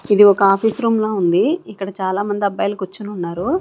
ఇది ఒక office room ల ఉంది ఇక్కడ చాలా మంది అబ్బాయిలు కూర్చొని ఉన్నారు.